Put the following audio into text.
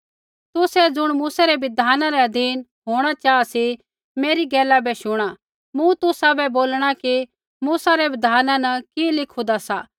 तुसै ज़ुण मूसै रै बिधाना रै अधीन होंणा चाहा सी मेरी गैला बै शुणा मूँ तुसाबै बोलणा कि मूसा रै बिधाना न कि लिखूदा सा